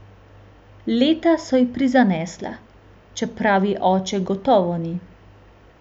Leta so ji prizanesla, čeprav ji oče gotovo ni.